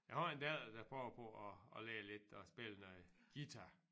Jeg har en datter der prøver på at at lære lidt og spille noget guitar